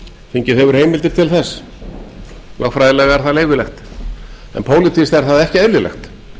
þingið hefur heimildir til þess lögfræðilega er það leyfilegt en pólitískt er það ekki eðlilegt